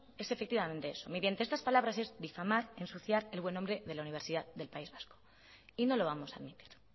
es efectivamente eso mediante estas palabras es difamar y ensuciar el buen nombre de la universidad del país vasco y no lo vamos a admitir